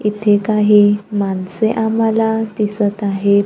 इथे काही माणसे आम्हाला दिसतं आहेत.